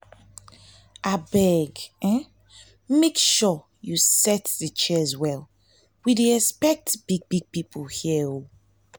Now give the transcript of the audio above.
thank god say we get all the funds we need to help the children in need